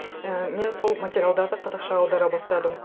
і мен сол материалдарды қазақша аудара бастадым